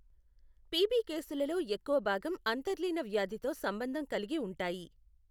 PB కేసులలో ఎక్కువ భాగం అంతర్లీన వ్యాధితో సంబంధం కలిగి ఉంటాయి.